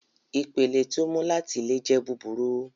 Ipele ti o mu lati ile jẹ buburu